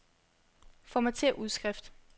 Formatér udskrift.